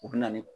U bɛ na ni